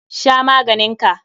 Sha maganin ka!